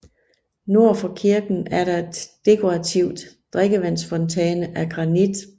Nord for kirken er der et dekorativt drikkevandsfontæne af granit